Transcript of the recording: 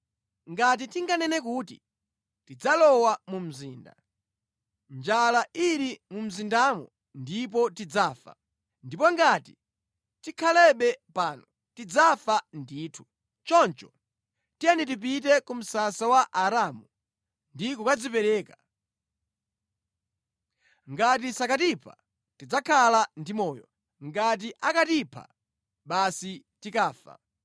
Ngati tinganene kuti, ‘Tidzalowa mu mzinda,’ njala ili mu mzindamo ndipo tidzafa. Ndipo ngati tikhalebe pano, tidzafa ndithu. Choncho tiyeni tipite ku msasa wa Aaramu ndi kukadzipereka. Ngati sakatipha, tidzakhala ndi moyo, ngati akatipha, basi tikafa.”